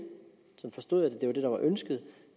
jeg forstod det var det der var ønsket